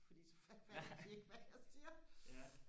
fordå så fatter de ikke hvad jeg siger